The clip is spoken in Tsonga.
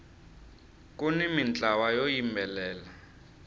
kuni mintlawa yo yimbelela